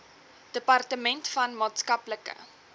departement van maatskaplike